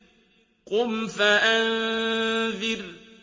قُمْ فَأَنذِرْ